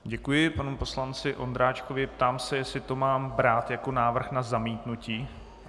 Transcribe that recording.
Děkuji panu poslanci Ondráčkovi, ptám se, jestli to mám brát jako návrh na zamítnutí.